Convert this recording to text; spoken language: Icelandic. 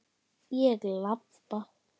Ég labba.